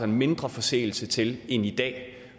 mindre forseelse til end i dag